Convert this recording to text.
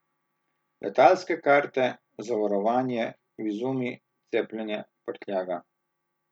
Letalske karte, zavarovanje, vizumi, cepljenje, prtljaga.